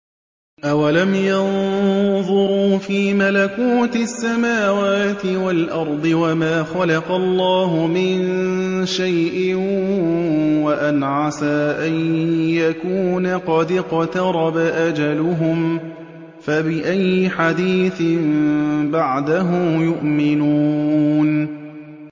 أَوَلَمْ يَنظُرُوا فِي مَلَكُوتِ السَّمَاوَاتِ وَالْأَرْضِ وَمَا خَلَقَ اللَّهُ مِن شَيْءٍ وَأَنْ عَسَىٰ أَن يَكُونَ قَدِ اقْتَرَبَ أَجَلُهُمْ ۖ فَبِأَيِّ حَدِيثٍ بَعْدَهُ يُؤْمِنُونَ